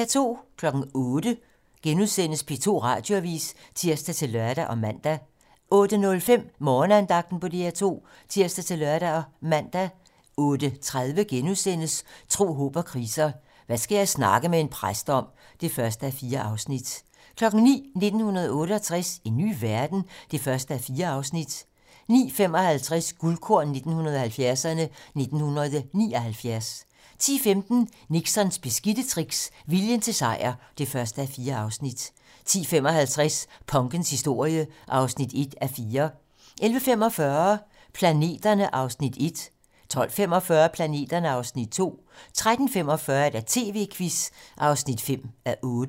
08:00: P2 Radioavisen *(tir-lør og man) 08:05: Morgenandagten på DR2 (tir-lør og man) 08:30: Tro, håb & kriser: Hvad skal jeg snakke med en præst om? (1:4)* 09:00: 1968 - en ny verden? (1:4) 09:55: Guldkorn 1970'erne: 1979 10:15: Nixons beskidte tricks - viljen til sejr (1:4) 10:55: Punkens historie (1:4) 11:45: Planeterne (Afs. 1) 12:45: Planeterne (Afs. 2) 13:45: TV-Quizzen (5:8)*